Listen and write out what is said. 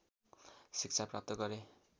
शिक्षा प्राप्त गरे